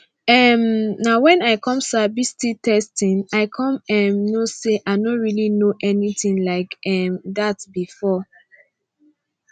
um na when i come sabi sti testing i come um know say i no really know anything like um that before